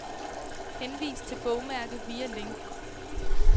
Henvis til bogmærke via link.